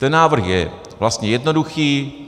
Ten návrh je vlastně jednoduchý.